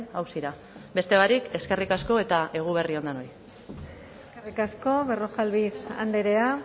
auzira beste barik eskerrik asko eta eguberri on denoi eskerrik asko berrojalbiz andrea